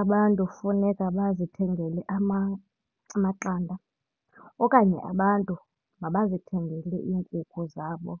Abantu funeka bazithengele amaqanda okanye abantu mabazithengele iinkukhu zabo